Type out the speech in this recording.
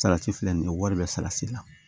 Salati filɛ nin ye wari bɛ salati la